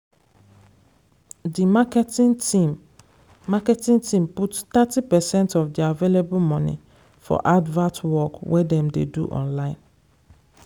di marketing team marketing team put thirty percent of their available money for advert work wey dem dey do online.